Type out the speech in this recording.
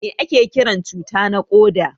Mai ake Kiran cuta na koda?